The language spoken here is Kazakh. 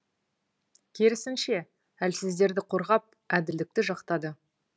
керісінше әлсіздерді қорғап әділдікті жақтады